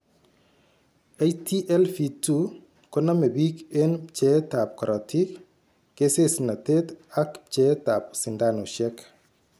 HTLV 2 koname bik en pcheet ab korotik, kesesnatet ak pcheet ab sindanushek